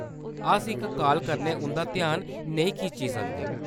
अस इक काल कन्नै उंʼदा ध्यान नेईं खिच्ची सकदे।